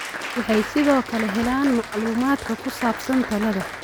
Waxay sidoo kale helaan macluumaadka ku saabsan tallaalada.